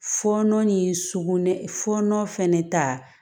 Fɔɔnɔ ni sukunɛ fɔɔnɔ fɛnɛ ta